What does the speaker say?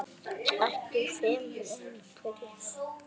Ekki fremur en fyrri daginn.